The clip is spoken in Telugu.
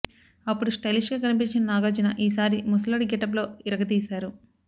అప్పుడు స్టైలిష్ గా కనిపించిన నాగార్జున ఈ సారి ముసలోడి గెటప్ లో ఇరగదీశారు